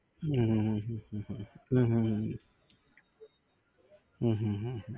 હમ હમ